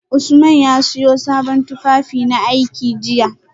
Usman ya siyo sabon tufafinaiki jiya